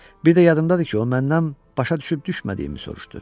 Bir də yadımdadır ki, o məndən başa düşüb düşmədiyimi soruşdu.